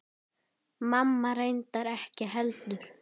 Mamma reyndar ekki heldur.